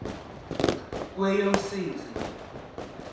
kweyomsintsi